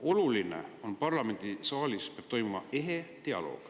Oluline on, et parlamendisaalis peab toimuma ehe dialoog.